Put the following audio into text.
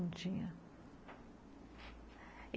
Não tinha.